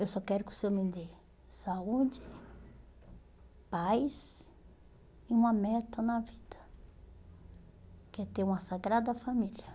Eu só quero que o Senhor me dê saúde, paz e uma meta na vida, que é ter uma Sagrada Família.